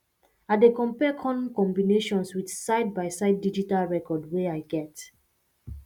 i dey compare corn combinations with sidebyside digital record wey i get